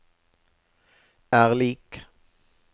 er lik